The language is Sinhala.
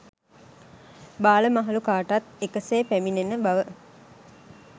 බාල මහලු කාටත් එක සේ පැමිණෙන බව